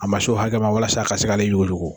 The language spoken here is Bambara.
A ma s'o hakɛ ma walasa a ka se k'ale juguyugu.